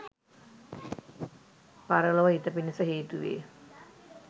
පරලොව හිත පිණිස හේතු වේ